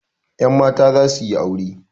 Yan mata za su yi aure.